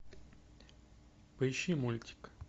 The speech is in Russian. поищи мультик